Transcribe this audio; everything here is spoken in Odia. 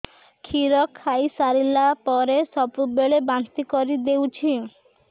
କ୍ଷୀର ଖାଇସାରିଲା ପରେ ସବୁବେଳେ ବାନ୍ତି କରିଦେଉଛି